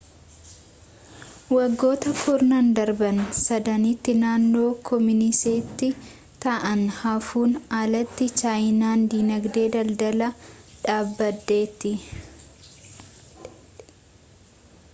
waggoota kurnan darbaan sadanitti naannoo kooministii ta'anii haafuun alatti chaayinaan diinagdee daldalaa dhaabdeetti